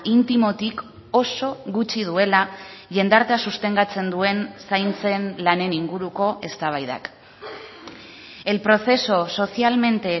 intimotik oso gutxi duela jendartea sostengatzen duen zaintzen lanen inguruko eztabaidak el proceso socialmente